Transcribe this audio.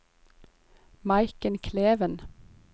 Maiken Kleven